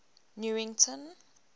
newington